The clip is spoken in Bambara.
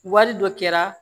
Wari dɔ kɛra